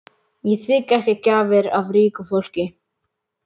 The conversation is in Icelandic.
Ég þigg ekki gjafir af ríku fólki.